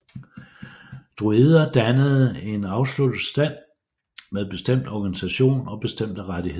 Druider dannede en afsluttet stand med bestemt organisation og bestemte rettigheder